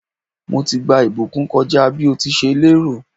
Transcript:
Mo ti gba ìbùkún kọ́ja bí o ti ṣe lè rò.